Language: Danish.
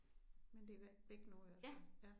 Men det væk nu i hvert fald ja